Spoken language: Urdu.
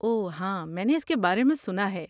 اوہ ہاں میں نے اس کے بارے میں سنا ہے۔